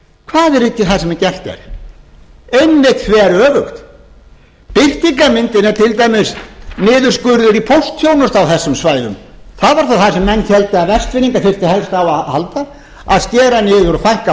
hvað er ekki það sem gert er einmitt þveröfugt birtingarmyndin er til dæmis niðurskurður í póstþjónustu á þessum svæðum það var nú það sem menn héldu að vestfirðingar þyrftu helst á að halda að skera niður og fækka